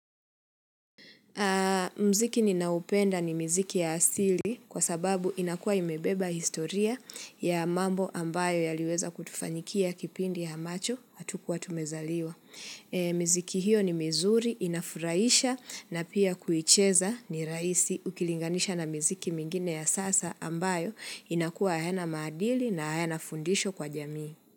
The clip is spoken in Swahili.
Muziki ninaopenda ni mziki ya asili kwa sababu inakuwa imebeba historia ya mambo ambayo yaliweza kutufanyikia kipindi ambacho hatukuwa tumezaliwa. Mziki hiyo ni mizuri inafurahisha na pia kuicheza ni rahisi ukilinganisha na muziki mingine ya sasa ambayo inakuwa hayana maadili na hayana fundisho kwa jamii.